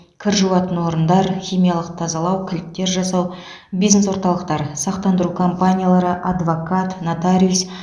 кір жуатын орындар химиялық тазалау кілттер жасау бизнес орталықтар сақтандыру компаниялары адвокат нотариус